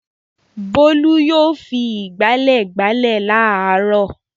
Bólú yóò fi ìgbálẹ̀ gbálẹ̀ láàárọ̀.